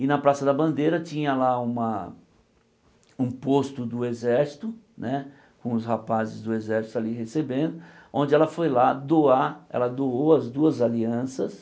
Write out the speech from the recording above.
E na Praça da Bandeira tinha lá uma um posto do exército né, com os rapazes do exército ali recebendo, onde ela foi lá doar, ela doou as duas alianças,